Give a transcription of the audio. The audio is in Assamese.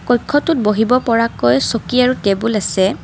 কক্ষটোত বহিব পৰাকৈ চকী আৰু টেবুল আছে।